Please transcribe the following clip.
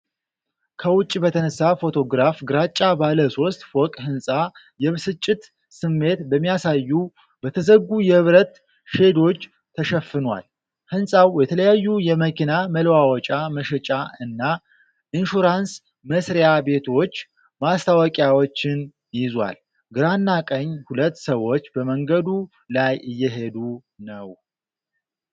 ከውጭ በተነሳ ፎቶግራፍ ግራጫ ባለ ሶስት ፎቅ ህንጻ የብስጭት ስሜት በሚያሳዩ በተዘጉ የብረት ሼዶች ተሸፍኗል። ህንፃው የተለያዩ የመኪና መለዋወጫ መሸጫ እና ኢንሹራንስ መ/ቤቶች ማስታወቂያዎችን ይዟል። ግራና ቀኝ ሁለት ሰዎች በመንገዱ ላይ እየሄዱ ነው።